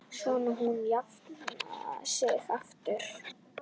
Svo hún jafni sig aftur.